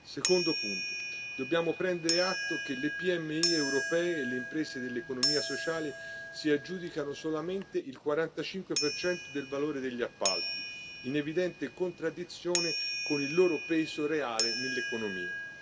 Secondo punto dobbiamo prendere atto che le PMI europee e le imprese dell'economia sociale si aggiudicano solamente il 45 del valore degli appalti, in evidente contraddizione con il loro peso reale nell'economia.